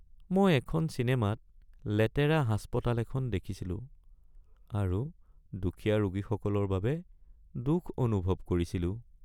মই এখন চিনেমাত লেতেৰা হাস্পতাল এখন দেখিছিলো আৰু দুখীয়া ৰোগীসকলৰ বাবে দুখ অনুভৱ কৰিছিলো।